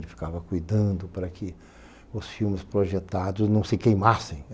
Ele ficava cuidando para que os filmes projetados não se queimassem.